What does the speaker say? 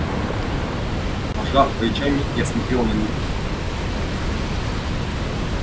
пожав плечами я смотрел на них